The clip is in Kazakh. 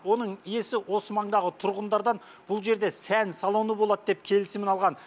оның иесі осы маңдағы тұрғындардан бұл жерде сән салоны болады деп келісімін алған